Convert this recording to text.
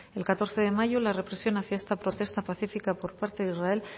el catorce de mayo la represión hacia esta protesta pacífica por parte de israel